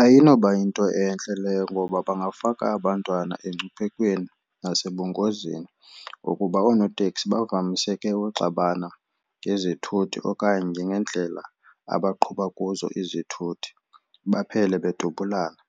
Ayinoba yinto entle leyo ngoba bangafaka abantwana engcuphekweni nasebungozini ngokuba oonoteksi bavamise uxabana ngezithuthi okanye ngendlela abaqhuba kuzo izithuthi baphele bedubulana.